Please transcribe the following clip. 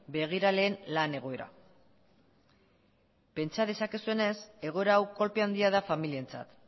begiraleen lan egoera pentsa dezakezuenez egoera hau kolpe handia da familientzat